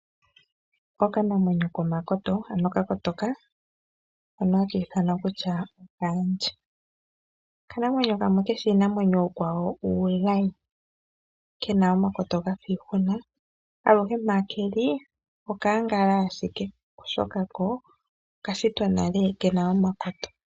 Okanamwenyo komakoto, ano ka kotoka hono ha kiithanwa kutya okaandje. Okanamwenyo kamwe keshi iinamwenyo iikwawo uulayi, kena omakoto gafiihuna. Aluhe mpa keli okaangala ashike, oshoka ko okashitwa nale kena omakoto.